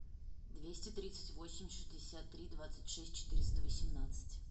двести тридцать восемь шестьдесят три двадцать шесть четыреста восемнадцать